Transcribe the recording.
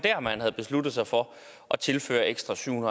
at man havde besluttet sig for at tilføre ekstra syv